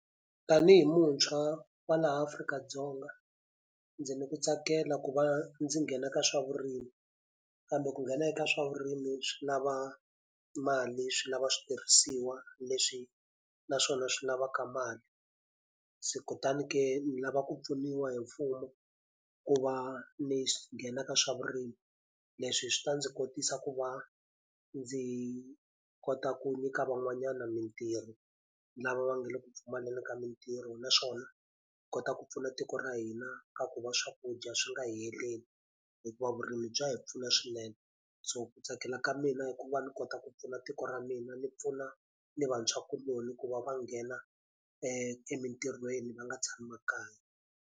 Tanihi muntshwa wa laha Afrika-Dzonga ndzi ni ku tsakela ku va ndzi nghena ka swa vurimi. Kambe ku nghena eka swa vurimi swi lava mali, swi lava switirhisiwa leswi na swona swi lavaka mali. Se kutani ke ni lava ku pfuniwa hi mfumo ku va ni nghena ka swa vurimi, leswi swi ta ndzi kotisa ku va ndzi kota ku nyika van'wanyana mintirho, lava va nga le ku pfumaleni ka mintirho naswona hi kota ku pfuna tiko ra hina ka ku va swakudya swi nga heleli. Hikuva vurimi bya hi pfuna swinene, so ku tsakela ka mina i ku va ndzi kota ku pfuna tiko ra mina ni pfuna ni vantshwakuloni ku va va nghena emintirhweni va nga tshami kaya.